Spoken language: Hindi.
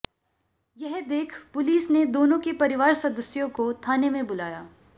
यह देख पुलिस ने दोनों के परिवार सदस्यों को थाने में बुलाया